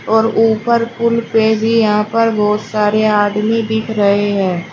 और ऊपर पुल पे भी यहां पर बहुत सारे आदमी दिख रहे हैं।